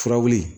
Fura wuli